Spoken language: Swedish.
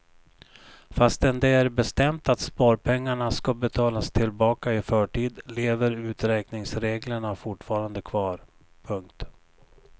Fastän det är bestämt att sparpengarna ska betalas tillbaka i förtid lever uträkningsreglerna fortfarande kvar. punkt